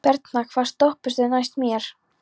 Bernharð, hvaða stoppistöð er næst mér?